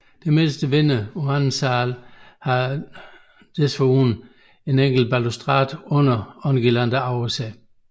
Det midterste vindue på anden sal har desuden en enkelt balustrade under og en guirlande over sig